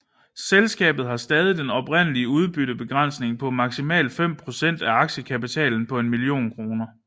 Selskabet har stadig den oprindelige udbyttebegrænsning på maksimalt fem procent af aktiekapitalen på en million kroner